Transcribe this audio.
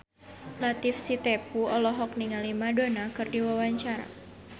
Latief Sitepu olohok ningali Madonna keur diwawancara